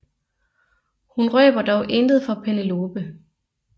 Hun røber dog intet for Penelope